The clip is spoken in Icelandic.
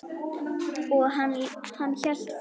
Og hann hélt áfram.